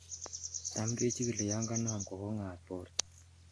Tam kechikili yon kanam kogong'at borto.